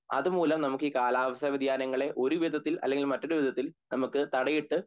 അതുമൂലം നമക്ക് ഈ കാലാവസ്ഥ വ്യതിയാനങ്ങളെ ഒരുവിതത്തിൽ അല്ലെ മറ്റൊരുവിതത്തിൽ നമക്ക് തടയിട്ട്